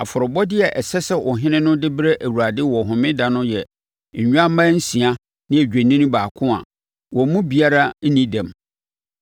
Afɔrebɔdeɛ a ɛsɛ sɛ ɔhene no de brɛ Awurade wɔ Homeda no yɛ nnwammaa nsia ne odwennini baako a wɔn mu biara ho nni dɛm.